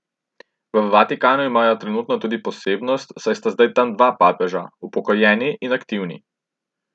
V Vatikanu imajo trenutno tudi posebnost, saj sta zdaj tam dva papeža, upokojeni in aktivni.